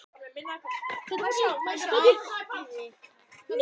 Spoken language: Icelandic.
Hún var að tala í óræðri framtíð eða hvað þetta heitir.